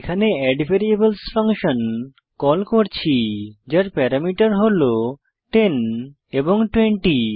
এখানে variables function call করছি যার প্যারামিটার হল 10 এবং 20